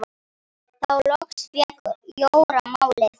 Þá loks fékk Jóra málið.